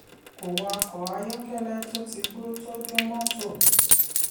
kò wakọ ayọ́kẹ́lẹ́ tó ti gbó tó dùn mọ́tò.